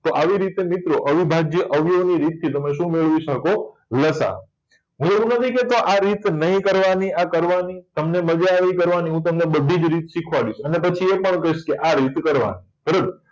તો આવી રીતે મિત્રો અવિભાજ્ય અવયવી રીત થી તમે શું મેળવી શકો લસા અ હું એવું નથી કેતો કે આ રીત નહી કરવા ની આ કરવા ની તમને મજા આવી કરવા ની અને પછી એ પણ કહીશ કે આ રીતે કરવાનું બરાબર